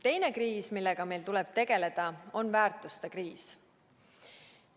Teine kriis, millega meil tuleb tegeleda, on väärtuste kriis.